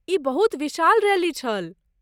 ई बहुत विशाल रैली छल।